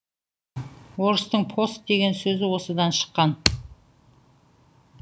орыстың пост деген сөзі осыдан шыққан